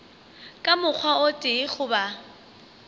ka mokgwa o tee goba